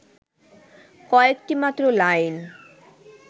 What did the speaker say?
কয়েকটি মাত্র লাইন